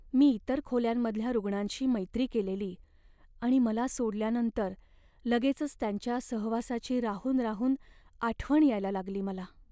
मी इतर खोल्यांमधल्या रूग्णांशी मैत्री केलेली आणि मला सोडल्यानंतर लगेचच त्यांच्या सहवासाची राहून राहून आठवण यायला लागली मला.